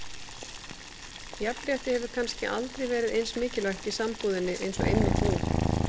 Jafnrétti hefur kannski aldrei verið eins mikilvægt í sambúðinni eins og einmitt nú.